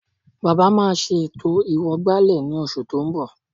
Bàbá máa ṣe ètò ìwọ̀gbàlẹ̀ ní oṣù tó ń bọ̀